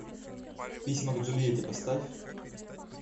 письма к джульетте поставь